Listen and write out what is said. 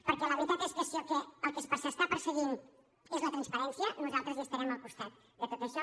perquè la veritat és que si el que s’està perseguint és la transparència nosaltres hi estarem al costat de tot això